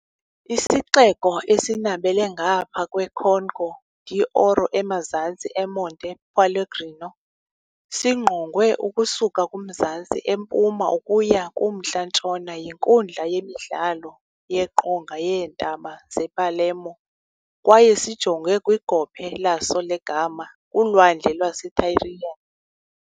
Isixeko, esinabela ngaphaya kweConca d'Oro emazantsi eMonte Pellegrino, singqongwe ukusuka kumzantsi empuma ukuya kumntla-ntshona yinkundla yemidlalo yeqonga yeentaba zePalermo kwaye sijonge kwigophe laso legama kuLwandle lwaseTyrrhenian.